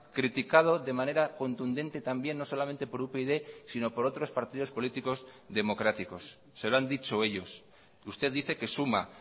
criticado de manera contundente también no solamente por upyd sino por otros partidos políticos democráticos se lo han dicho ellos usted dice que suma